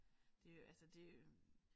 Det altså det øh